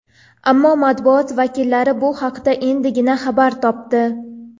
Ammo matbuot vakillari bu haqda endigina xabar topdi.